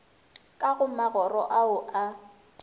ka go magoro ao a